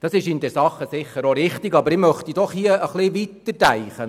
Das ist in der Sache sicher auch richtig, aber ich möchte doch etwas weiterdenken.